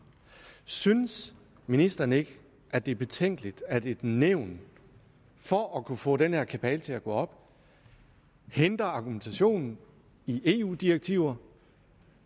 synes ministeren ikke at det er betænkeligt at et nævn for at kunne få den her kabale til at gå op henter argumentationen i eu direktiver